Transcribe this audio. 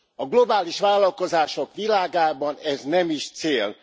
A globális vállalkozások világában ez nem is cél.